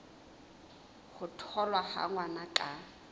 ho tholwa ha ngwana ka